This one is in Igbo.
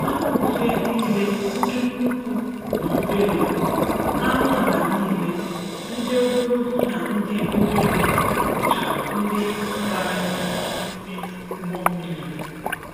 Anụ ufe niile ndị nnukwu na obere, anụ ala niile, ndị ogologo na ndị obere bụcha ndi banyere n'ime ugbo mmiri a.